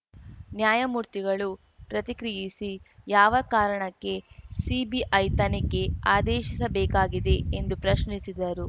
ನ್ಯಾಯಮೂರ್ತಿಗಳು ಪ್ರತಿಕ್ರಿಯಿಸಿ ಯಾವ ಕಾರಣಕ್ಕೆ ಸಿಬಿಐ ತನಿಖೆ ಆದೇಶಿಸಬೇಕಾಗಿದೆ ಎಂದು ಪ್ರಶ್ನಿಸಿದರು